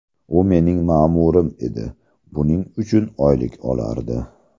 U mening ma’murim edi, buning uchun oylik olardi.